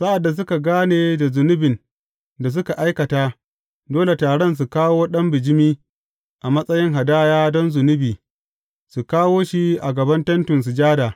Sa’ad da suka gane da zunubin da suka aikata, dole taron su kawo ɗan bijimi a matsayin hadaya don zunubi, su kawo shi a gaban Tentin Sujada.